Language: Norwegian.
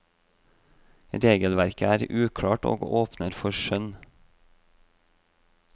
Regelverket er uklart og åpner for skjønn.